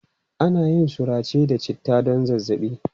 Ana yin surace da citta don zazzaɓi.